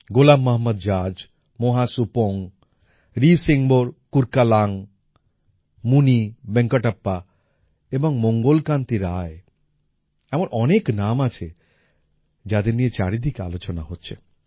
গোলাম Mohammad Zaz Moa Subong Ri Singbor Kurkalang Munivenkatappa এবং মঙ্গল কান্তি রায় এমন অনেক নাম আছে যাঁদের নিয়ে চারিদিকে আলোচনা হচ্ছে